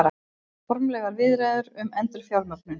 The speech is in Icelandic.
Formlegar viðræður um endurfjármögnun